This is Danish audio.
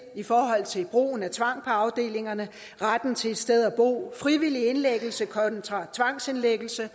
i forhold til brugen af tvang på afdelingerne retten til et sted at bo og frivillig indlæggelse kontra tvangsindlæggelse